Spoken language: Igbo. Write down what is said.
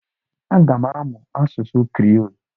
Aga m amụ asụsụ Kriiol.